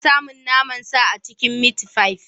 Ana samun naman sa a cikin mitfai.